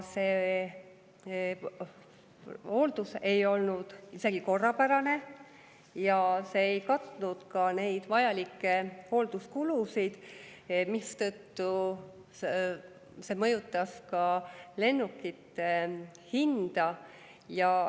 See hooldus ei olnud isegi korrapärane ja see ei katnud neid vajalikke hoolduskulusid, mistõttu see mõjutas ka lennukite hinda.